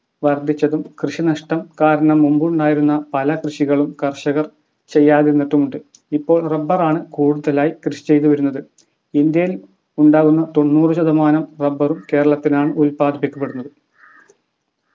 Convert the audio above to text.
വർദ്ധിച്ചതും കൃഷിനഷ്ടം കാരണം മുമ്പുണ്ടായിരുന്ന പല കൃഷികളും കർഷകർ ചെയ്യാതിരുന്നിട്ടുമുണ്ട് ഇപ്പോൾ rubber ആണ് കൂടുതലായി കൃഷി ചെയ്ത് വരുന്നത് ഇന്ത്യൽ ഉണ്ടാകുന്ന തൊണ്ണൂറ് ശതമാനം rubber ഉം കേരളത്തിലാണ് ഉൽപ്പാദിപ്പിക്കപ്പെടുന്നത്